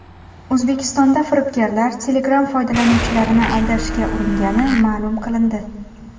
O‘zbekistonda firibgarlar Telegram foydalanuvchilarini aldashga uringani ma’lum qilindi.